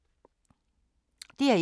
DR1